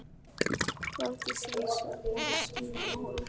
Læddist einsog mús í mína holu.